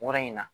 Wɔrɔ in na